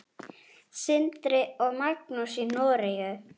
Sindri og Magnús í Noregi.